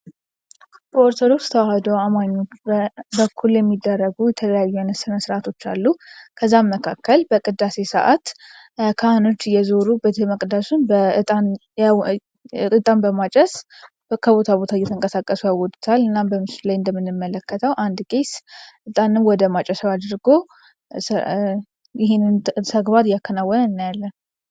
በኦርቶዶክስ ተዋህዶ እምነት በኩል የሚደረጉ የተለያዩ ስነ ስርዓቶች አሉ፤ ከነዛ መካከል በቅዳሴ ሰዓት ካህኖች እየዞሩ ቤተ መቅደሱን እጣን በማጨስ ከቦታ ቦታ ይለውጡታል። እና በምስሉ ላይ እንደምንመለከተው አንድ ቄስ እጣን ወደ ማጨሻው አድርጎ ይሄንን ተግባር እያከናወነ እናያለን።